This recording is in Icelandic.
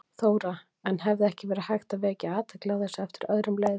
Þóra: En hefði ekki verið hægt að vekja athygli á þessu eftir öðrum leiðum?